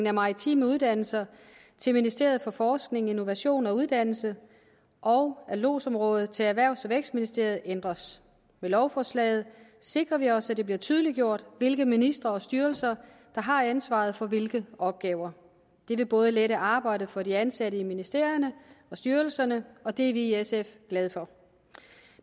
af maritime uddannelser til ministeriet for forskning innovation og videregående uddannelser og af lodsområdet til erhvervs og vækstministeriet ændres med lovforslaget sikrer vi os at det bliver tydeliggjort hvilke ministerier og styrelser der har ansvaret for hvilke opgaver det vil både lette arbejdet for de ansatte i ministerierne og styrelserne og det er vi i sf glade for